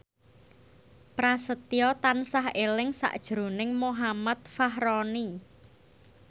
Prasetyo tansah eling sakjroning Muhammad Fachroni